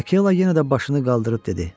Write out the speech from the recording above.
Akela yenə də başını qaldırıb dedi: